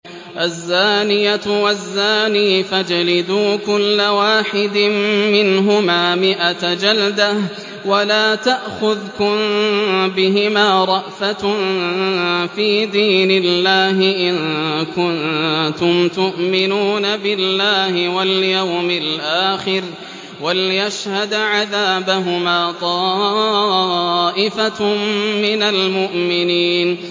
الزَّانِيَةُ وَالزَّانِي فَاجْلِدُوا كُلَّ وَاحِدٍ مِّنْهُمَا مِائَةَ جَلْدَةٍ ۖ وَلَا تَأْخُذْكُم بِهِمَا رَأْفَةٌ فِي دِينِ اللَّهِ إِن كُنتُمْ تُؤْمِنُونَ بِاللَّهِ وَالْيَوْمِ الْآخِرِ ۖ وَلْيَشْهَدْ عَذَابَهُمَا طَائِفَةٌ مِّنَ الْمُؤْمِنِينَ